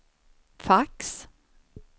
fax